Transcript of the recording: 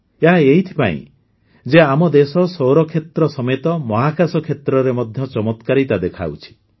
ଏହା ଏଇଥିପାଇଁ ଯେ ଆମ ଦେଶ ସୌରକ୍ଷେତ୍ର ସମେତ ମହାକାଶ କ୍ଷେତ୍ରରେ ମଧ୍ୟ ଚମତ୍କାରିତା ଦେଖାଉଛି